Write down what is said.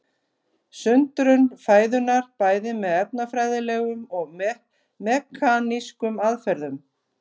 Sundrun fæðunnar bæði með efnafræðilegum og mekanískum aðferðum.